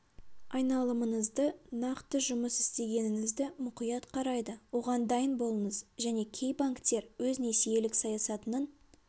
айналымыңызды нақты жұмыс істегеніңізді мұқият қарайды оған дайын болыңыз және кей банктер өз несиелік саясатының